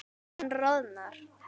Hann roðnar.